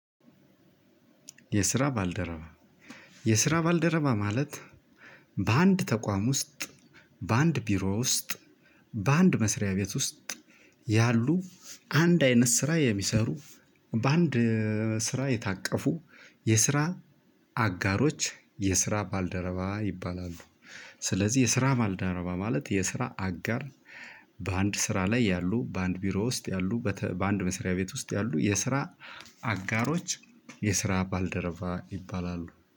የስራ ባልደረባ የስራ ባልደረባ ማለት በአንድ ተቋም ውስጥ በአንድ ቢሮ ውስጥ በአንድ መስሪያ ቤት ውስጥ ያሉ አንድ አይነት ስራ የሚሰሩ በአንድ ስራ የታቀፉ የስራ አጋሮች የስራ ባልደረባ ይባላሉ። ስለዚህ የስራ ባልደረባ ማለት የስራ አጋር። በአንድ ስራ ላይ ያሉ በአንድ ቢሮ ውስጥ ያሉ በአንድ መስሪያ ቤት ውስጥ ያሉ የስራ አጋሮች የስራ ባልደረባ ይባላሉ